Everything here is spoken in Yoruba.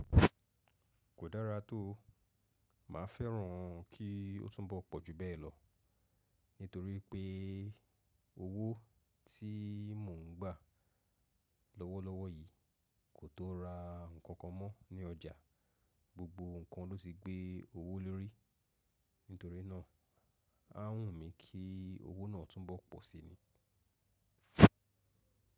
Kò dára tó, mà á fẹ́ràn kí ó tún bọ̀ pọ̀ ju bẹ́ẹ̀ lọ, nítorí pé owó tí mò ń gbà lọ́wọ́lọ́wọ́ yìí kò tó ra ǹkan kan mọ́ ní ọjà, gbogbo ǹkan ló ti gbé owó lórí, nítorí náà á wù mí kí owó náà tún bọ̀ pọ̀ si ni.